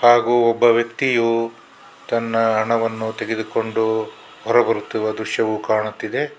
ಹಾಗೂ ಒಬ್ಬ ವ್ಯಕ್ತಿಯು ತನ್ನ ಹಣವನ್ನು ತೆಗೆದುಕೊಂಡು ಹೊರ ಬರುತ್ತಿರುವ ದೃಶ್ಯವು ಕಾಣುತ್ತಿದೆ.